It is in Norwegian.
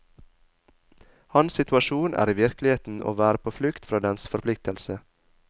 Hans situasjon er i virkeligheten å være på flukt fra dens forpliktelse.